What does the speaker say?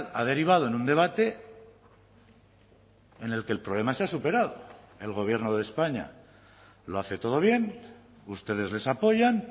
ha derivado en un debate en el que el problema se ha superado el gobierno de españa lo hace todo bien ustedes les apoyan